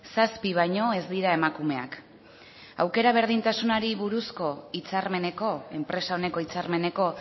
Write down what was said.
zazpi baino ez dira emakumeak aukera berdintasunari buruzko hitzarmeneko enpresa oneko hitzarmeneko